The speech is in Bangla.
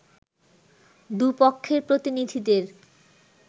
দু’পক্ষের প্রতিনিধিদের